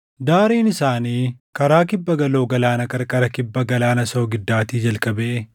Daariin isaanii karaa kibbaa galoo galaanaa qarqara kibba Galaana soogiddaattii jalqabee